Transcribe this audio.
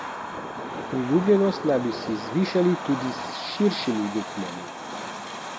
Priljubljenost naj bi zvišali tudi s širšimi luknjami.